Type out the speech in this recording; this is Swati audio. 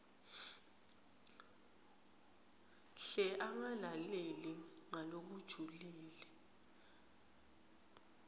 hle angalaleli ngalokujulile